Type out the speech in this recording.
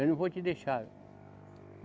Eu não vou te deixar.